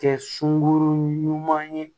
Kɛ sunkuru ɲuman ye